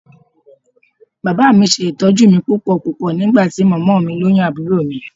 Bàbá mi ṣe ìtọ́jú mi púpọ̀púpọ̀ nígbà tí mọ́mọ́ mi lóyún àbúrò mi